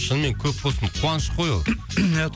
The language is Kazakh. шынымен көп болсын қуаныш қой ол